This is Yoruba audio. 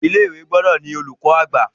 Ilé-ìwé gbúdọ̀ ni olùkọ̀-àgbà.